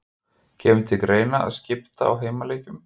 Kemur til greina að skipta á heimaleikjum?